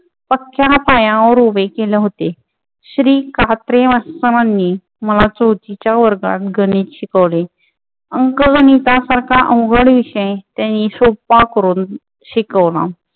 पक्या पायावर उभे केले होते. श्री. कात्रे मास्तरांनी मला चौथीच्या वर्गात गणित शिकवले. अंक गणितासारखा अवघड विषय त्यांनी सोप्पा करून शिकवला.